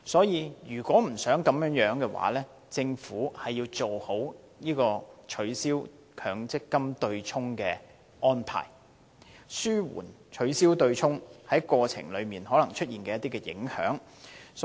如果不想出現這情況，政府需要妥善處理取消強積金對沖機制的安排，以紓緩過程中可能出現的影響。